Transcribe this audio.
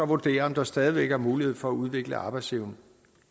vurdere om der stadig væk er mulighed for at udvikle arbejdsevne